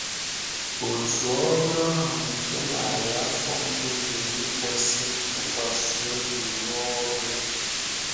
Òtù ọ́rụ ahụ nke narị afọ mbụ jiri ikwésị ntụkwasị obi rụọ ọrụ ya.